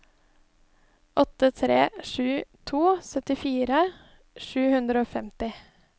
åtte tre sju to syttifire sju hundre og femti